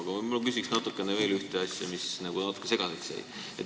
Aga ma küsin veel ühe asja kohta, mis natuke segaseks jäi.